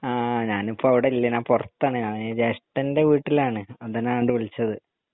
ആഹ് ഞാനിപ്പൊ അവിടില്ല ഞാൻ പൊറത്താണ് ഞാന് ജേഷ്ടൻ്റെ വീട്ടിലാണ് അതാ ഞാൻ അങ്ങണ്ട് വിളിച്ചത്